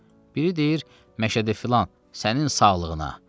Biri deyir: "Məşədi filan, sənin sağlığına."